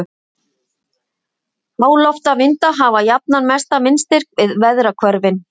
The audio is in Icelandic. háloftavindar hafa jafnan mestan vindstyrk við veðrahvörfin